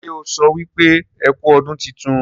ṣe ọ so wípé ẹkú ọdún títún?